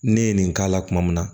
Ne ye nin k'a la kuma min na